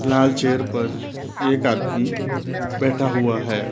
लाल chair पर एक आदमी बैठा हुआ है।